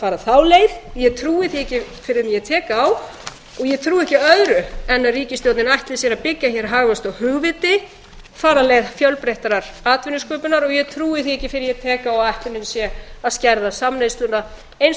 fara þá leið ég trúi því ekki fyrr en ég tek á og ég trúi ekki öðru en að ríkisstjórnin ætli sér að byggja hagvöxt á hugviti fara leið fjölbreyttrar atvinnusköpunar og ég trúi því ekki fyrr en ég tek á að ætlunin sé að skerða samneysluna eins og